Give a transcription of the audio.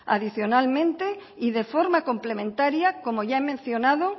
adicionalmente y de forma complementaria como ya he mencionado